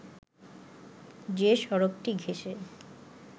যে সড়কটি ঘেষে